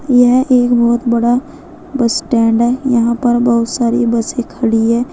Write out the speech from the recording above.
यह एक बहुत बड़ा बस स्टैंड है यहां पर बहुत सारी बसें खड़ी है।